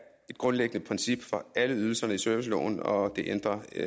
et grundlæggende princip for alle ydelserne i serviceloven og det ændrer vi